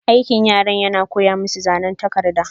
Aikin yaran yana koya masu zanan takarda.